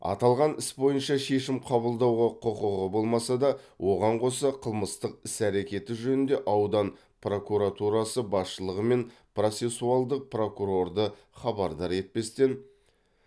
аталған іс бойынша шешім қабылдауға құқығы болмаса да оған қоса қылмыстық іс әрекеті жөнінде аудан прокуратурасы басшылығы мен процессуалдық прокурорды хабардар етпестен